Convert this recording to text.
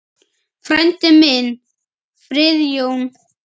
Frændi minn, Friðjón